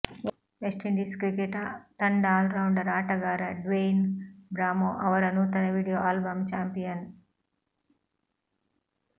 West Indies cricket ತಂಡ all rounder ಆಟಗಾರ Dwayne Bravo ಅವರ ನೂತನ ವಿಡಿಯೋ ಆಲ್ಬಮ್ ಚಾಂಪಿಯನ್